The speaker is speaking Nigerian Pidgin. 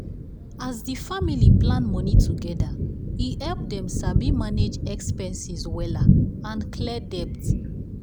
as the family plan money together e help them sabi manage expenses wella and clear debt.